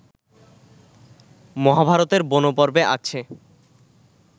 মহাভারতের বনপর্বে আছে